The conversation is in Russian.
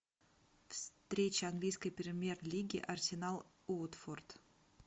встреча английской премьер лиги арсенал уотфорд